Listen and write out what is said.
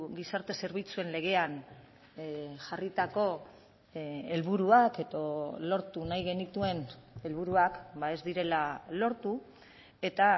gizarte zerbitzuen legean jarritako helburuak edo lortu nahi genituen helburuak ez direla lortu eta